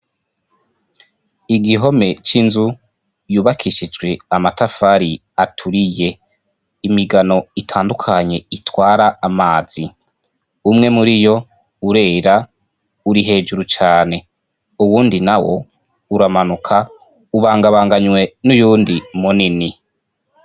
igihome cy'inzu yubakishijwe amatafari aturiye imigano itandukanye itwara amazi umwe muri yo urera uri hejuru cyane uwundi na wo uramanuka ubangabanganywe n'uyundi munini